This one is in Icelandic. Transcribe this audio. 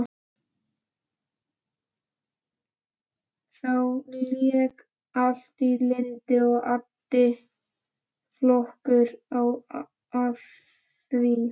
Þá lék allt í lyndi og addi flottur á því.